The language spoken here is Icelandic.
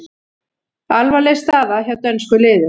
Alvarleg staða hjá dönskum liðum